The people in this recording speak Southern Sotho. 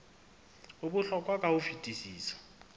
o bohlokwa ka ho fetisisa